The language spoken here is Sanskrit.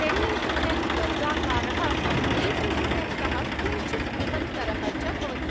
टेन् इण्टु टेन् वर्गाकारः, यैय्ट् इण्टु टेन् तः किञ्चित् बृहत्तरः च भवति।